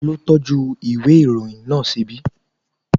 Ta ló tọ́jú ìwé ìròyìn náà ṣíbí?